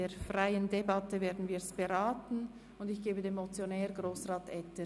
Die Beratung findet in freier Debatte statt.